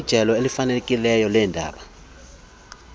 ijelo elifanelekileyo leendaba